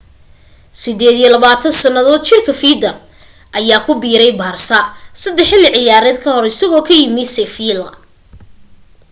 28 sannadood jirka fiidal ayaa ku biiray barsa saddex xilli ciyaareed ka hor isagoo ka yimi seffiila